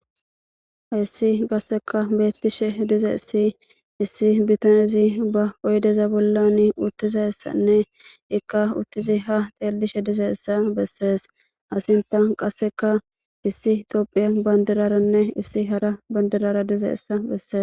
Issi qasseka beettishe dizeessi issi bitanezi ba oydeza bollani uttizassanne ikka uttizi ha teellishe dizeessa bessees asinta qasseka issi itoophiya bandiraranne issi hara bandirara dizeessa bessee